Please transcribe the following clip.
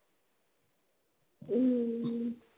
ஹம்